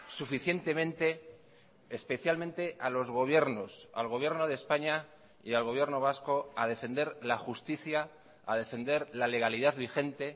suficientemente especialmente a los gobiernos al gobierno de españa y al gobierno vasco a defender la justicia a defender la legalidad vigente